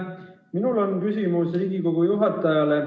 Minul on küsimus Riigikogu juhatajale.